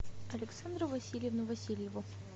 александру васильевну васильеву